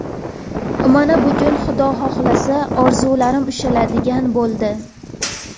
Mana bugun Xudo xohlasa, orzularim ushaladigan bo‘ldi.